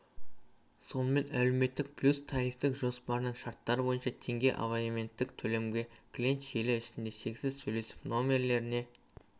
сонымен әлеуметтік плюс тарифтік жоспарының шарттары бойынша теңге абоненттік төлемге клиент желі ішінде шексіз сөйлесіп нөмірлеріне